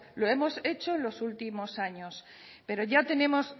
lo hemos hecho los últimos años pero ya tenemos